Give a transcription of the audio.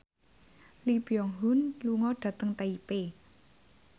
Lee Byung Hun lunga dhateng Taipei